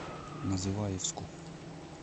называевску